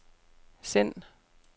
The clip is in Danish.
send